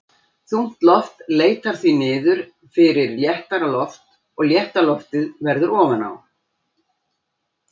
Þungt loft leitar því niður fyrir léttara loft og létta loftið verður ofan á.